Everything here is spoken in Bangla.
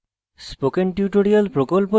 spoken tutorial প্রকল্প the